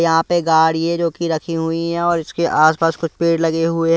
यहां पे गाड़ी है जो कि रखी हुई हैं और इसके आसपास कुछ पेड़ लगे हुए--